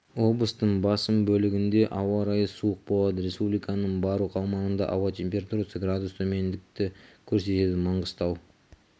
облыстың басым бөлігінде ауа райы суық болады республиканың барлық аумағында ауа температурасы градус төмендікті көрсетеді маңғыстау